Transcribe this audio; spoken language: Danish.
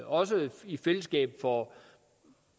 også i fællesskab får